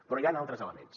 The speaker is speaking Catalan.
però hi han altres elements